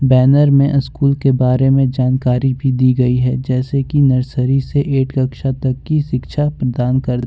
banner में school के बारे में जानकारी भी दी गई है जैसे कि नर्सरी से एट कक्षा तक की शिक्षा प्रदान कर--